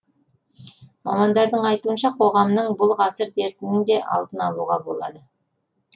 мамандардың айтуынша қоғамның бұл ғасыр дертінің де алдын алуға болады